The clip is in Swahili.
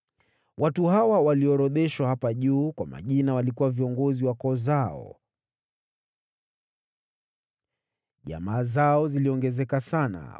Watu hawa walioorodheshwa hapa juu kwa majina walikuwa viongozi wa koo zao. Jamaa zao ziliongezeka sana,